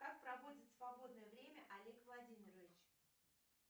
как проводит свободное время олег владимирович